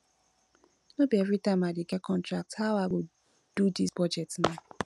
no be everytime i dey get contract how i go do dis budget now